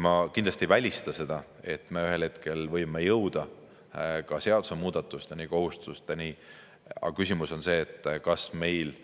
Ma kindlasti ei välista seda, et me ühel hetkel võime jõuda ka seadusemuudatusteni, kohustusteni, aga küsimus on see, kas meil